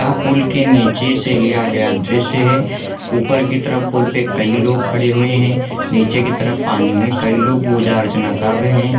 pool के निचे से लिया गया दृश्य है ऊपर के तरफ पूल पे कई लोग खड़े हुए है निचे की तरफ पानी में कई लोग पूजा अर्चना कर रहे है |